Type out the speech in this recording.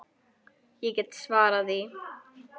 Ég get svarið það.